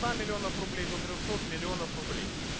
два миллионов рублей до трёхсот миллионов рублей